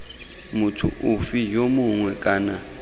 motho ofe yo mongwe kana